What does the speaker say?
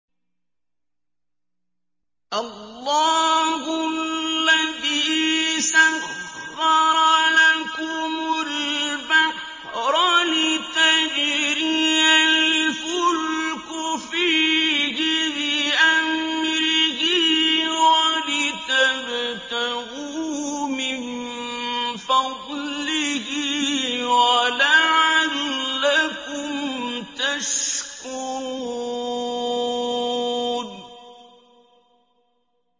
۞ اللَّهُ الَّذِي سَخَّرَ لَكُمُ الْبَحْرَ لِتَجْرِيَ الْفُلْكُ فِيهِ بِأَمْرِهِ وَلِتَبْتَغُوا مِن فَضْلِهِ وَلَعَلَّكُمْ تَشْكُرُونَ